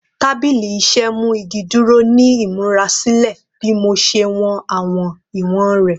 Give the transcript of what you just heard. Tabili iṣẹ mu igi duro ni imurasilẹ bi mo ṣe wọn awọn iwọn rẹ